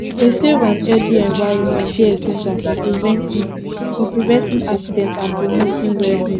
a safe and healthy envirnment dey essential for preventing for preventing accidents and promoting wellbeing